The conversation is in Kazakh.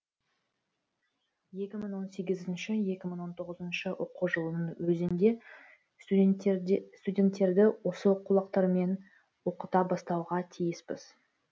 екі мың он сегізінші екі мың он тоғызыншы оқу жылының өзінде студенттерді осы оқулықтармен оқыта бастауға тиіспіз